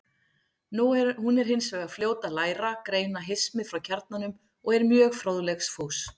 Hún er hins vegar fljót að læra, greina hismið frá kjarnanum og er mjög fróðleiksfús.